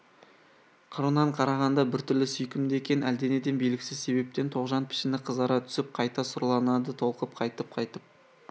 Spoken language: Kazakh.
қырынан қарағанда біртүрлі сүйкімді екен әлденеден белгісіз себептен тоғжан пішіні қызара түсіп қайта сұрланады толқып қайтып